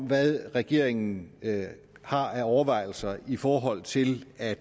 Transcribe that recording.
hvad regeringen har af overvejelser i forhold til at